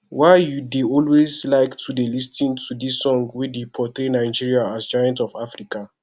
why you dey always like to lis ten to dis song wey dey portray nigeria as giant ofafrica